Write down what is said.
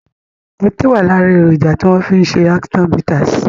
Ọtí wá lára èròjà tí wọn fi ṣe action bitters